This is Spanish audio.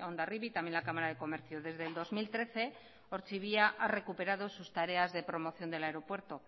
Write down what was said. hondarribia también la cámara de comercio desde el dos mil trece ortxibia ha recuperado sus tareas de promoción del aeropuerto